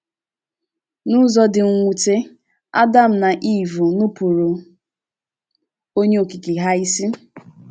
N’ụzọ dị mwute, Adam na Iv nupụụrụ Onye Okike ha ísì.